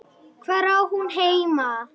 Hvar á hún heima?